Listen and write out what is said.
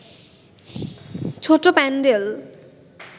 ছোট্ট প্যান্ডেল